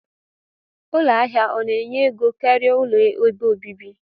Ụlọ ahia ọna enye ego karia ụlọ ebe obibi?